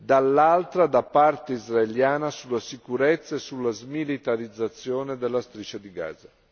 dall'altro, da parte israeliana, sulla sicurezza e sulla smilitarizzazione della Striscia di Gaza.